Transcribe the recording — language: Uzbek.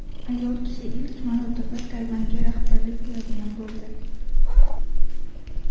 Ayol kishi ilk marotaba Tayvanga rahbarlik qiladigan bo‘ldi.